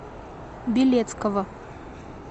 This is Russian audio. белецкого